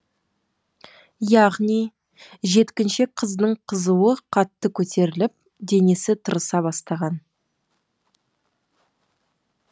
яғни жеткіншек қыздың қызуы қатты көтеріліп денесі тырыса бастаған